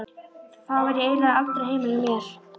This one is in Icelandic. Þá var ég eiginlega aldrei heima hjá mér.